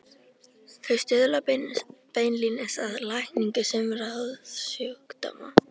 Þau stuðla beinlínis að lækningu sumra húðsjúkdóma.